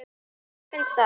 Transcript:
Já, mér finnst það.